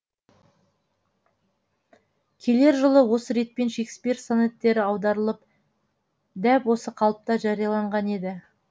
келер жылы осы ретпен шекспир сонеттері аударылып дәп осы қалыпта жарияланған еді